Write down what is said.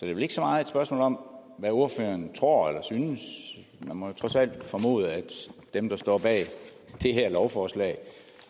vel ikke så meget et spørgsmål om hvad ordføreren tror eller synes man må trods alt formode at dem der står bag det her lovforslag